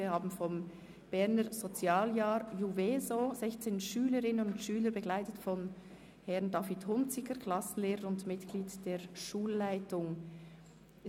Wir haben vom Berner Sozialjahr JUVESO 16 Schülerinnen und Schüler zu Besuch, die von Herrn David Hunziker, Klassenlehrer und Mitglied der Schulleitung, begleitet werden.